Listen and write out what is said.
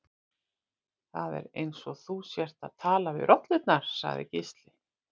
Það er eins og þú sért að tala við rollurnar, sagði Gísli.